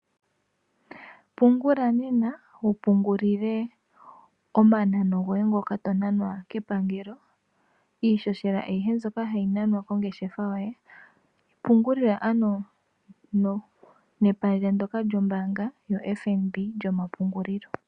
Pungula nena wu pungulile omanano goye ngoka to namwa kepangelo iihohela ayihe mbyoka hayi nanwa kongeshefa yoye pungulila ano nepandja ndoka lyombaanga lyoFNB lyomapungulilo.